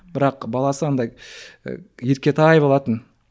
бірақ баласы андай ы еркетай болатын